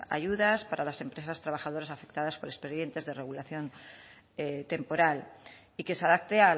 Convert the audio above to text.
ayudas para las empresas trabajadoras afectadas por expedientes de regulación temporal y que se adapte